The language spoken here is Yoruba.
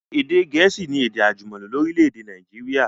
Èdè gẹ̀ẹ̀síì ni èdè àjùmọ̀lò lórílẹ̀dè Naijiria